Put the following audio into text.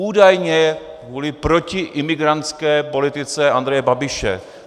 Údajně kvůli protiimigrantské politice Andreje Babiše.